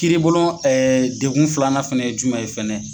Kiiri bulon degun filanan fana ye jumɛn ye fɛnɛ